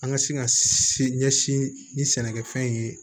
An ka se ka se ɲɛsin ni sɛnɛkɛfɛn ye